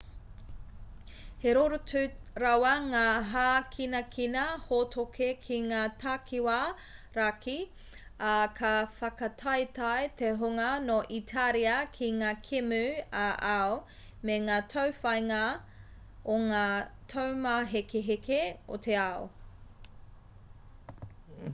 he rorotu rawa ngā hākinakina hōtoke ki ngā takiwā raki ā ka whakataetae te hunga nō itāria ki ngā kēmu ā-ao me ngā tauwhāinga o ngā taumāhekeheke o te ao